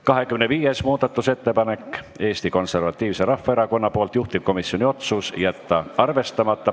25. muudatusettepanek on Eesti Konservatiivselt Rahvaerakonnalt, juhtivkomisjoni otsus: jätta arvestamata.